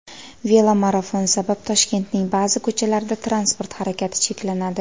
Velomarafon sabab Toshkentning ba’zi ko‘chalarida transport harakati cheklanadi.